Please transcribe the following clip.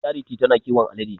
Charity ta na kiwon alade.